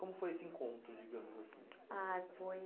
Como foi esse encontro, digamos assim? Ah, foi